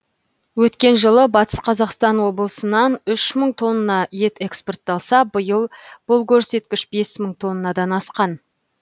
өткен жылы батыс қазақстан облысынан үш мың тонна ет экспортталса биыл бұл көрсеткіш бес мың тоннадан асқан